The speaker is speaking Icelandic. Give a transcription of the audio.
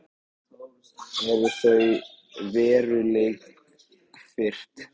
Eru þau veruleikafirrt?